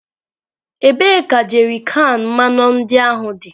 Ebee ka jerrykan mmanụ ndị ahụ dị?